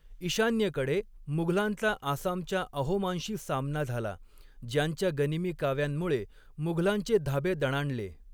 ईशान्येकडे, मुघलांचा आसामच्या अहोमांशी सामना झाला, ज्यांच्या गनिमी काव्यांमुळे मुघलांचे धाबे दणाणले.